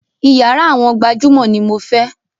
Iyàrá àwọn gbajúmọ̀ ní mo fẹ́!